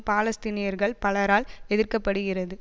பாலஸ்தீனியர்கள் பலரால் எதிர்க்கப்படுகிறது